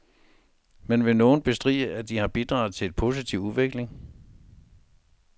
Men vil nogen bestride, at de har bidraget til en positiv udvikling.